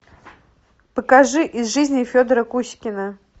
покажи из жизни федора кузькина